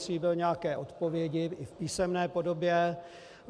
Slíbil nějaké odpovědi, i v písemné podobě.